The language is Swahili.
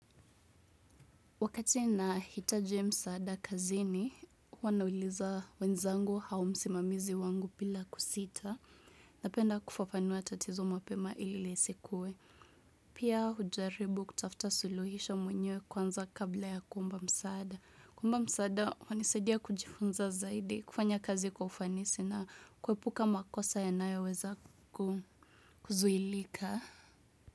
Wakati nahitaji msaada kazini, huwa nauliza wenzangu au msimamizi wangu bila kusita. Napenda kufafanua tatizo mapema ili lisikuwe. Pia hujaribu kutafuta suluhisho mwenyewe kwanza kabla ya kuomba msaada. Kuomba msaada, kwanisadia kujifunza zaidi kufanya kazi kwa ufanisi na kuepuka makosa yanayoweza kuzuilika.